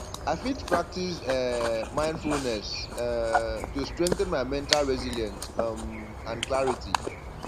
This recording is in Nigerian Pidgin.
i fit practice um mindfulness um to strengthen my mental resilience um and clarity